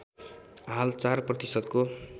हाल ४ प्रतिशतको